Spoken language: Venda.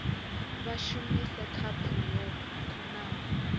vha shumise khaphu yo kunaho